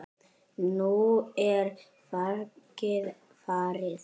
Nú er fargið farið.